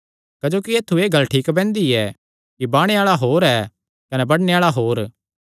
क्जोकि ऐत्थु एह़ गल्ल ठीक बैंहदी ऐ कि बाणे आल़ा होर ऐ कने बडणे आल़ा होर